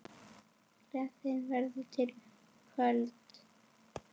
Gleðin verður við völd.